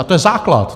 A to je základ.